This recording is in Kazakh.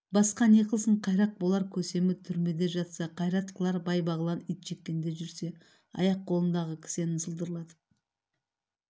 басқа не қылсын қайрақ болар көсемі түрмеде жатса қайрат қылар бай-бағлан итжеккенде жүрсе аяқ-қолындағы кісенін сылдырлатып